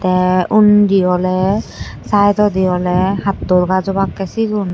te undi oley saitodi oley hattol gaj obakkey sigun.